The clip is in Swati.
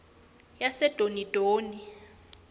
yasedonidoni